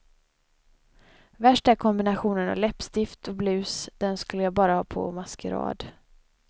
Värst är kombinationen läppstift och blus, den skulle jag bara ha på maskerad.